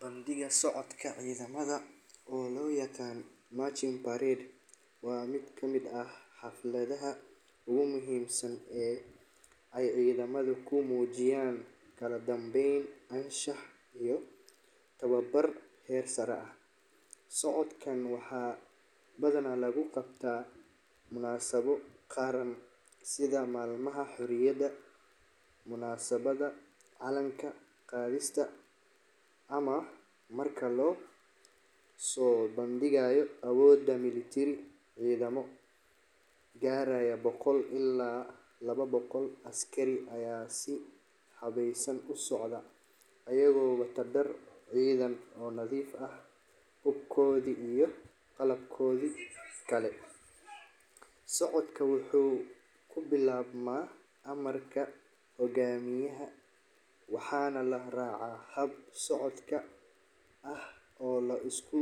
Bandhiga socodka ciidamada, oo loo yaqaan marching parade, waa mid kamid ah xafladaha ugu muhiimsan ee ay ciidamada ku muujiyaan kala dambayn, anshax, iyo tababar heer sare ah. Socodkan waxaa badanaa lagu qabtaa munaasabado qaran sida maalmaha xurriyadda, munaasabadda calan qaadista, ama marka la soo bandhigayo awoodda milateri. Ciidamo gaaraya boqol ilaa laba boqol askari ayaa si habaysan u socda, iyagoo wata dhar ciidan oo nadiif ah, hubkoodii iyo qalabkoodii kale. Socodka wuxuu ku bilaabmaa amarka hogaamiyaha waxaana la raacaa hab socod ah oo la isku